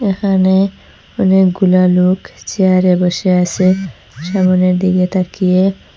এখানে অনেকগুলা লোক চেয়ারে বসে আসে সামনের দিকে তাকিয়ে।